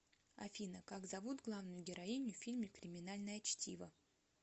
афина как зовут главную героиню в фильме криминальное чтиво